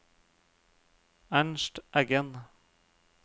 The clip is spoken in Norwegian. Ernst Eggen